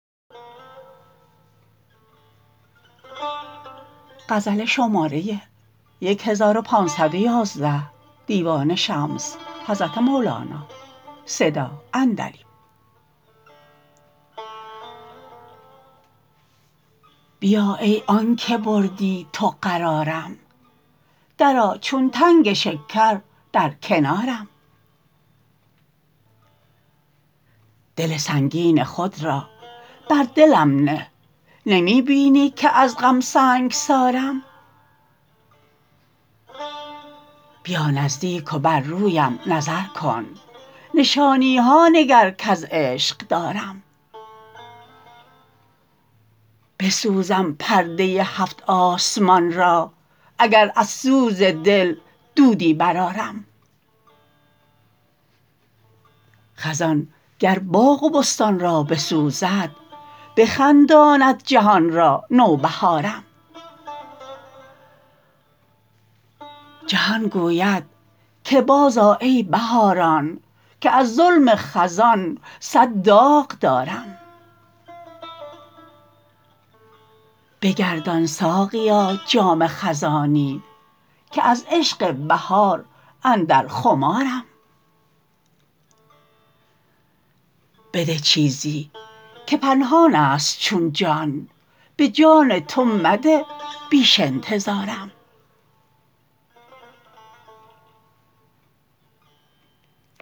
بیا ای آنک بردی تو قرارم درآ چون تنگ شکر در کنارم دل سنگین خود را بر دلم نه نمی بینی که از غم سنگسارم بیا نزدیک و بر رویم نظر کن نشانی ها نگر کز عشق دارم بسوزم پرده هفت آسمان را اگر از سوز دل دودی برآرم خزان گر باغ و بستان را بسوزد بخنداند جهان را نوبهارم جهان گوید که بازآ ای بهاران که از ظلم خزان صد داغ دارم بگردان ساقیا جام خزانی که از عشق بهار اندر خمارم بده چیزی که پنهان است چون جان به جان تو مده بیش انتظارم